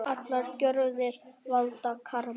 Allar gjörðir valda karma.